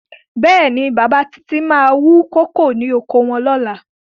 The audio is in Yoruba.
Bẹ́ẹ̀ni, bàbá Títí máa wú kókò lóko wọn ní ọ̀la.